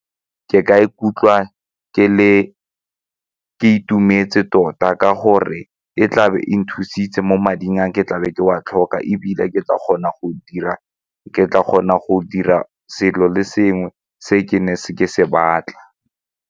Ke ka ikutlwa ke itumetse tota ka gore e tla be e nthusitse mo mading a ke tlabe ke wa tlhoka ebile ke tla kgona go dira selo le sengwe se ke ne ke se ke se batla.